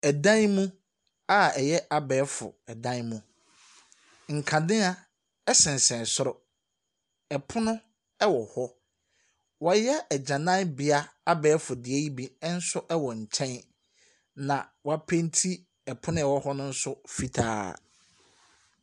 Ɛdan mu a ɛyɛ abɛɛfo dan mu. Nkanea sensɛn soro, pono wɔ hɔ. Wɔayɛ agyananbea, abɛɛfo deɛ yi bi nso wɔ nkyɛn, ɛnna wɔapenti pono a ɛwɔ hɔ no nso fitaa.